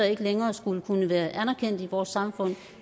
ikke længere skulle kunne være anerkendt i vores samfund